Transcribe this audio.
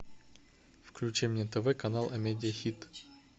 включи мне тв канал амедиа хит